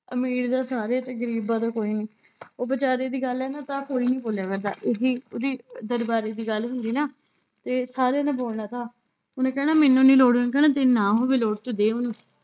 ਅਮੀਰ ਦਾ ਸਾਰੇ ਤੇ ਗ਼ਰੀਬਾਂ ਦਾ ਕੋਈ ਨੀ ਉਹ ਬੇਚਾਰੇ ਦੀ ਗੱਲ ਹੈ ਨਾ ਤਾਂ ਕੋਈ ਨੀ ਬੋਲਿਆ ਕਰਦਾ ਇਹੀ ਉਹਦੀ ਦਰਬਾਰੇ ਦੀ ਗੱਲ ਹੁੰਦੀ ਨਾ, ਤੇ ਸਾਰੇ ਨੇ ਬੋਲਣਾ ਥਾ। ਉਹਨੇ ਕਹਿਣਾ ਮੈਨੂੰ ਨੀ ਲੋੜ ਓਹਨੇ ਕਹਿਣਾ ਜੇ ਨਾ ਹੋਵੇ ਲੋੜ ਤੂੰ ਦੇ ਉਹਨੂੰ